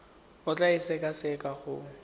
o tla e sekaseka go